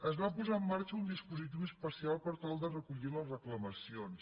es va posar en marxa un dispositiu especial per tal de recollir les reclamacions